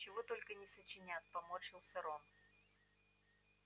чего только не сочинят поморщился рон